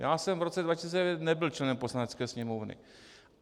Já jsem v roce 2009 nebyl členem Poslanecké sněmovny.